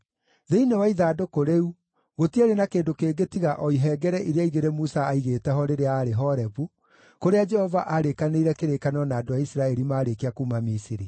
Thĩinĩ wa ithandũkũ rĩu gũtiarĩ na kĩndũ kĩngĩ tiga o ihengere iria igĩrĩ Musa aaigĩte ho rĩrĩa aarĩ Horebu, kũrĩa Jehova aarĩkanĩire kĩrĩkanĩro na andũ a Isiraeli maarĩkia kuuma Misiri.